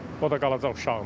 O da qalacaq uşağına.